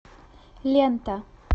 лента